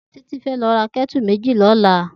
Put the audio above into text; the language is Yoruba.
Titi fè lò rá kètú méji lòla